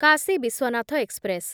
Kashi Vishwanath express